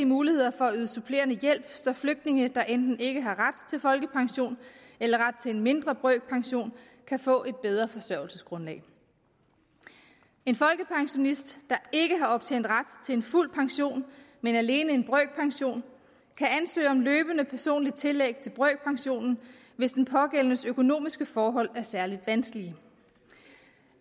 muligheder for at yde supplerende hjælp så flygtninge der enten ikke har ret til folkepension eller ret til en mindre brøkpension kan få et bedre forsørgelsesgrundlag en folkepensionist der ikke har optjent ret til en fuld pension men alene en brøkpension kan ansøge om løbende personligt tillæg til brøkpensionen hvis den pågældendes økonomiske forhold er særlig vanskelige